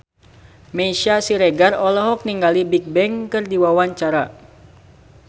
Meisya Siregar olohok ningali Bigbang keur diwawancara